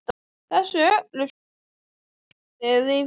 Þessu er öllu skutlað á borðið í flýti.